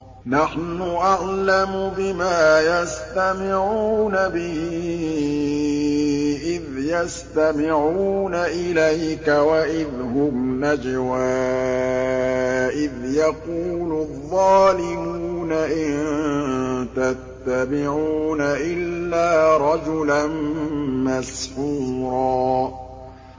نَّحْنُ أَعْلَمُ بِمَا يَسْتَمِعُونَ بِهِ إِذْ يَسْتَمِعُونَ إِلَيْكَ وَإِذْ هُمْ نَجْوَىٰ إِذْ يَقُولُ الظَّالِمُونَ إِن تَتَّبِعُونَ إِلَّا رَجُلًا مَّسْحُورًا